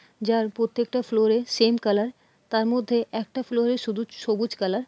যার প্রত্যেকটা ফ্লোর -ই সেম কালার তার মধ্যে একটা ফ্লোর -এ শুধু সবুজ কালার ।